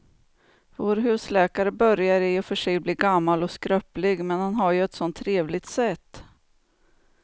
Vår husläkare börjar i och för sig bli gammal och skröplig, men han har ju ett sådant trevligt sätt!